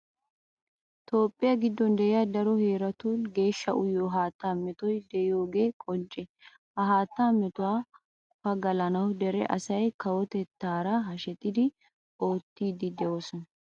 Toophphiya giddon de'iya daro heeratun geeshsha uyiyo haattaa metoy de'iyogee qoncce. ha haattaa metuwa pagalanawu dere asay kawotettaara hashetidi oottiiddi de'oosona.